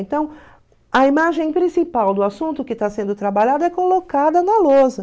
Então, a imagem principal do assunto que está sendo trabalhado é colocada na lousa.